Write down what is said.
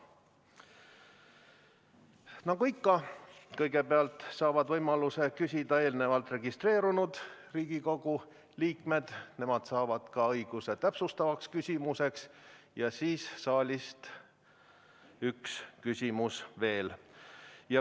Nagu ikka, kõigepealt saavad võimaluse küsida eelnevalt registreerunud Riigikogu liikmed, nemad saavad ka õiguse täpsustavaks küsimuseks, ja siis saalist üks küsimus veel.